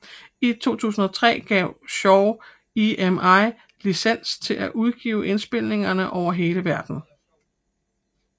I 2003 gav Shaw EMI licens til at udgive indspilningerne over hele verden